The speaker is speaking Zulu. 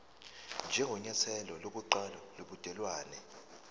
njengenyathelo lokuqala lobudelwane